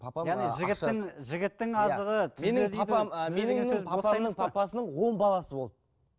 папам ы жігіттің жігіттің азығы түзде дейді папамның папасының он баласы болды